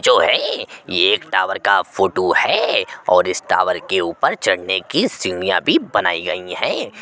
जो है ये एक टॉवर का फोटो है और इस टॉवर के ऊपर चढ़ने की सीढ़िया भी बनाई गई हैं।